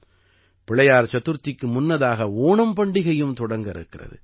பிள்ளையார் சதுர்த்திக்கு முன்னதாக ஓணம் பண்டிகையும் தொடங்க இருக்கிறது